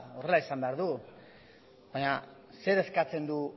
horrela izan behar du baina zer eskatzen du